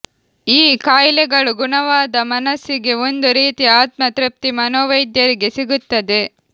ಈ ಕಾಯಿಲೆಗಳು ಗುಣವಾದ ಮನಸ್ಸಿಗೆ ಒಂದು ರೀತಿಯ ಆತ್ಮ ತೃಪ್ತಿ ಮನೋವೈದ್ಯರಿಗೆ ಸಿಗುತ್ತದೆ